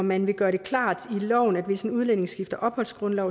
man vil gøre det klart i loven at hvis en udlænding skifter opholdsgrundlag